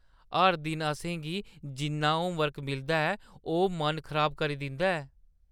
हर दिन असें गी जिन्ना होमवर्क मिलदा ऐ, ओह् मन खराब करी दिंदा ऐ।